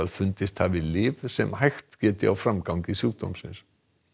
fundist hafi lyf sem hægt geti á framgangi sjúkdómsins